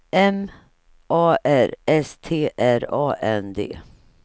M A R S T R A N D